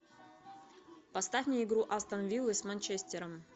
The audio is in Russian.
поставь мне игру астон виллы с манчестером